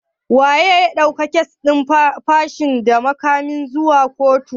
Wanene ya ɗauki kes din fashi da makamin zuwa kotu?